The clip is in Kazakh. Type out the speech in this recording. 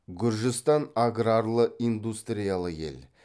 гүржістан аграрлы индустриялы ел